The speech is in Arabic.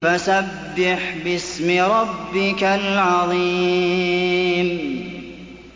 فَسَبِّحْ بِاسْمِ رَبِّكَ الْعَظِيمِ